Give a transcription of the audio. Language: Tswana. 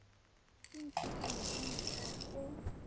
e ntshitsweng ka mokgwa o